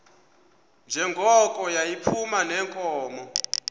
njengoko yayiphuma neenkomo